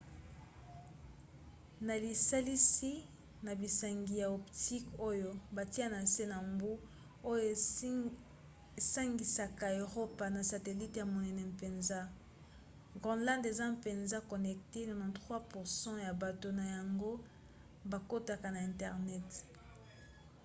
na lisalisi na bansinga ya optique oyo batia na se ya mbu oyo esangisaka eropa na satelite ya monene mpenza groenland eza mpenza connecté 93% ya bato na yango bakotaka na internet